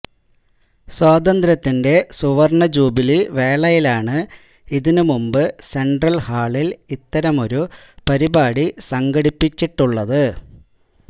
സ്വാതന്ത്ര്യത്തിന്റെ സുവർണജൂബിലി വേളയിലാണ് ഇതിനുമുമ്പ് സെൻട്രൽ ഹാളിൽ ഇത്തരമൊരു പരിപാടി സംഘടിപ്പിച്ചിട്ടുള്ളത്